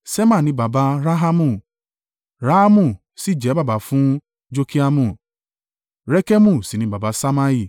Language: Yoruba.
Ṣema ni baba Rahamu, Rahamu sì jẹ́ baba fún Jorkeamu. Rekemu sì ni baba Ṣammai.